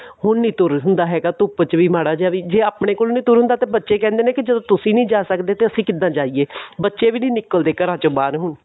ਹੁਣ ਨਹੀਂ ਤੁਰ ਹੁੰਦਾ ਹੈਗਾ ਧੁੱਪ ਚ ਵੀ ਮਾੜਾ ਜੀਆ ਵੀ ਜੇ ਆਪਣੇ ਕੋਲ ਨਹੀਂ ਤੁਰ ਹੁੰਦਾ ਤਾਂ ਬੱਚੇ ਕਹਿੰਦੇ ਨੇ ਵੀ ਤੁਸੀਂ ਨਹੀਂ ਜਾ ਸਕਦੇ ਤਾਂ ਅਸੀਂ ਕਿੱਦਾ ਜਾਈਏ ਬੱਚੇ ਵੀ ਨਹੀਂ ਨਿਕਲਦੇ ਘਰਾਂ ਚੋ ਬਾਹਰ ਹੁਣ